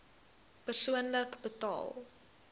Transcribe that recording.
persoonlik betaal